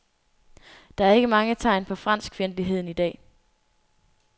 Der er ikke mange tegn på franskfjendtlighed i dag.